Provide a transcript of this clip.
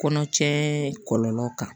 Kɔnɔ cɛ kɔlɔlɔw kan